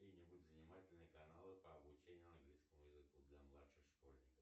занимательные каналы по обучению английскому языку для младших школьников